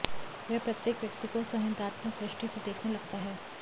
वह प्रत्येक व्यक्ति को संदेहात्मक दृष्टि से देखने लगता है